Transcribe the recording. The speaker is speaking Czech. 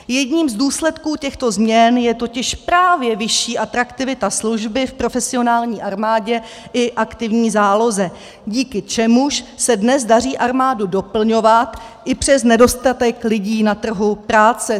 Jedním z důsledků těchto změn je totiž právě vyšší atraktivita služby v profesionální armádě i aktivní záloze, díky čemuž se dnes daří armádu doplňovat i přes nedostatek lidí na trhu práce.